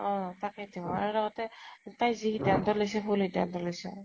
অ । তাকেইতো । আৰু লগতে তাই যি সিধান্ত লৈছে, ভুল সিধান্ত লৈছে ।